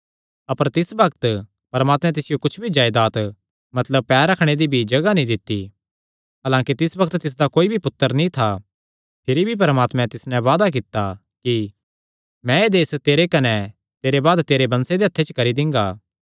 अपर तिस बग्त परमात्मैं तिसियो कुच्छ भी जायदात मतलब पैर रखणे दी भी जगाह नीं दित्ती हलांकि तिस बग्त तिसदा कोई भी पुत्तर नीं था भिरी भी परमात्मैं तिस नैं वादा कित्ता कि मैं एह़ देस तेरे कने तेरे बाद तेरे वंशे दे हत्थे च करी दिंगा